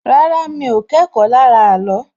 Rárá, mi ò kẹ́kọ̀ọ́ lára ààlọ́